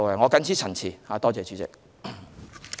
我謹此陳辭，多謝主席。